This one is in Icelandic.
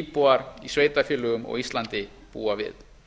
íbúar í sveitarfélögum á íslandi búa við